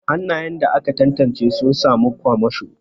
Hannayen da aka tantance suna samun kwamasho.